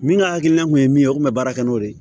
Min ka hakilina kun ye min ye o kun bɛ baara kɛ n'o de ye